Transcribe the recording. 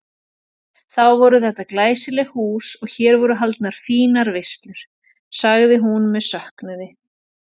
Þá var þetta glæsilegt hús og hér voru haldnar fínar veislur sagði hún með söknuði.